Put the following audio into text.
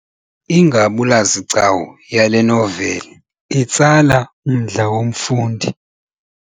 Ingabulazigcawu yale noveli itsala umdla womfundi.